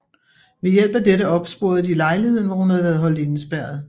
Ved hjælp af dette opsporede de lejligheden hvor hun havde været holdt indespærret